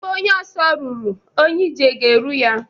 Ebe onye ọsọ ruru, onye ije ga-eru ya.